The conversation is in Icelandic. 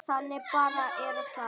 Þannig bara er það.